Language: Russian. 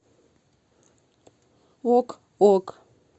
ок ок